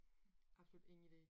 Absolut ingen idé